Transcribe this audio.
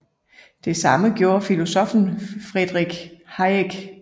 Det samme gjorde filosoffen Friedrich Hayek